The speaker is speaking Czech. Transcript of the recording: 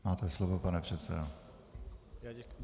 Máte slovo, pane předsedo.